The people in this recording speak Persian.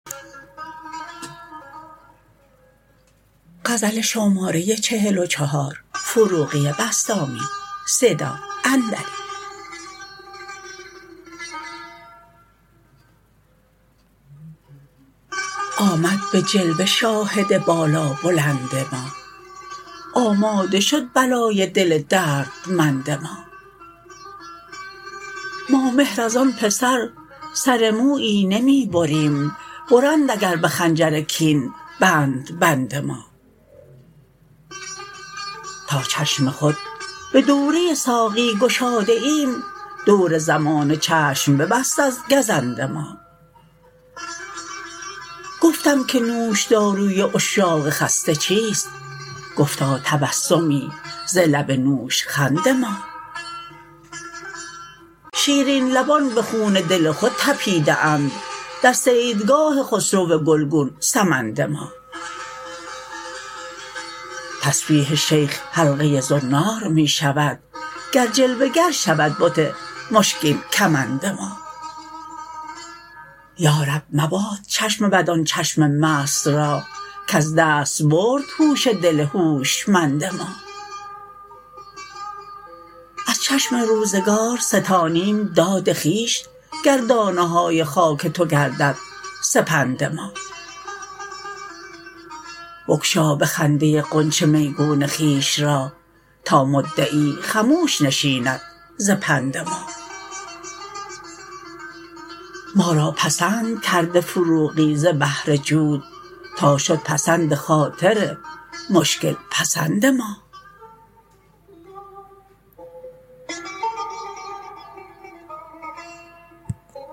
آمد به جلوه شاهد بالا بلند ما آماده شد بلای دل دردمند ما ما مهر از آن پسر سر مویی نمی بریم برند اگر به خنجر کین بندبند ما تا چشم خود به دوره ساقی گشاده ایم دور زمانه چشم ببست از گزند ما گفتم که نوش داروی عشاق خسته چیست گفتا تبسمی ز لب نوش خند ما شیرین لبان به خون دل خود تپیده اند در صیدگاه خسرو گل گون سمند ما تسبیح شیخ حلقه زنار می شود گر جلوه گر شود بت مشکین کمند ما یا رب مباد چشم بد آن چشم مست را کز دست برد هوش دل هوشمند ما از چشم روزگار ستانیم داد خویش گر دانه های خاک تو گردد سپند ما بگشا به خنده غنچه میگون خویش را تا مدعی خموش نشیند ز پندما ما را پسند کرده فروغی ز بهر جود تا شد پسند خاطر مشکل پسند ما